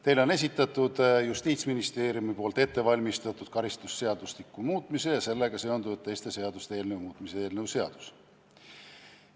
Teile on esitatud Justiitsministeeriumis ettevalmistatud karistusseadustiku muutmise ja sellega seonduvalt teiste seaduste muutmise seaduse eelnõu.